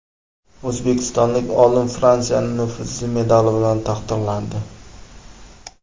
O‘zbekistonlik olim Fransiyaning nufuzli medali bilan taqdirlandi .